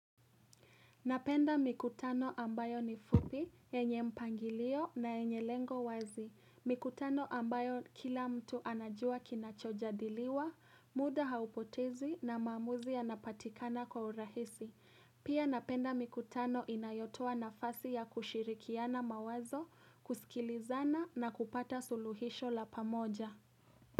Napenda mikutano ambayo ni fupi, yenye mpangilio na yenye lengo wazi. Mikutano ambayo kila mtu anajua kinacho jadiliwa, muda haupotezi na mamuzi ya napatikana kwa urahisi. Pia napenda mikutano inayotoa na fasi ya kushirikiana mawazo, kusikilizana na kupata suluhisho la pamoja.